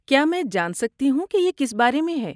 کیا میں جان سکتی ہوں کہ یہ کس بارے میں ہے؟